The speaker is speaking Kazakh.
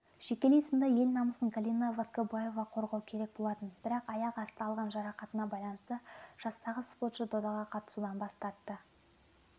жекелей сында ел намысын галина воскобоева қорғау керек болатын бірақ аяқ асты алған жарақатына байланысты жастағы спортшы додаға қатысудан бас тартты